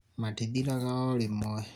matithiraga o rĩmwe